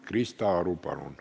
Krista Aru, palun!